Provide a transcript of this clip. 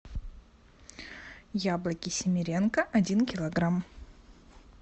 яблоки семеренко один килограмм